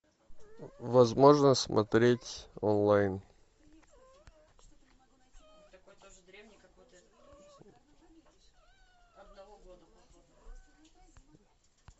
возможно смотреть онлайн